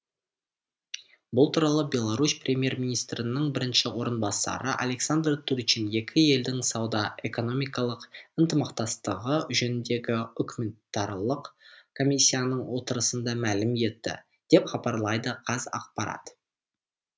бұл туралы беларусь премьер министрінің бірінші орынбасары александр турчин екі елдің сауда экономикалық ынтымақтастығы жөніндегі үкіметаралық комиссияның отырысында мәлім етті деп хабарлайды қазақпарат